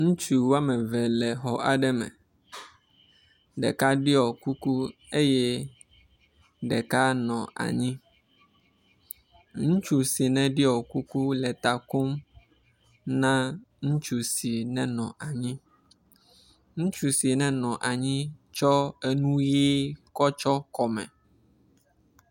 Ŋutsu woameve le xɔ aɖe me, ɖeka ɖiɔ kuku eye ɖeka nɔ anyi. Ŋutsu si ne ɖiɔ kuku le ta kom na ŋutsu si ne nɔ anyi, ŋutsu si ne nɔ anyi tsɔ enu ɣii kɔ tsɔ kɔme.